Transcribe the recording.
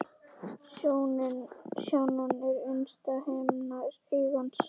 Sjónan er innsta himna augans.